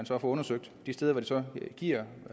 for at få undersøgt de steder hvor det så giver